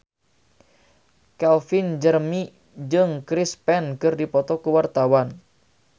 Calvin Jeremy jeung Chris Pane keur dipoto ku wartawan